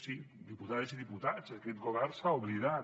sí diputades i diputats aquest govern se n’ha oblidat